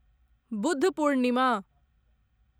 Buddha Purnima